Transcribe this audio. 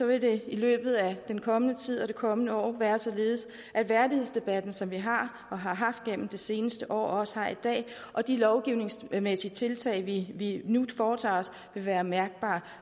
vil det i løbet af den kommende tid og det kommende år være således at værdighedsdebatten som vi har og har haft gennem det seneste år og også har i dag og de lovgivningsmæssige tiltag vi nu foretager os vil være mærkbare